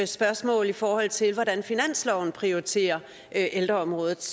spørgsmål i forhold til hvordan finansloven prioriterer ældreområdet